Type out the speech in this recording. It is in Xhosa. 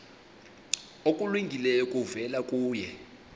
okulungileyo kuvela kuye